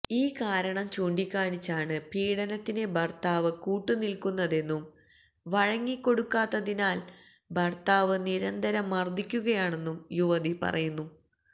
ഈ കാരണം ചൂണ്ടിക്കാണിച്ചാണ് പീഡനത്തിന് ഭര്ത്താവ് കൂട്ടുനില്ക്കുന്നതെന്നും വഴങ്ങിക്കൊടുക്കാത്തതിനാല് ഭര്ത്താവ് നിരന്തരം മര്ദ്ദിക്കുകയാണെന്നും യുവതി പറയുന്നു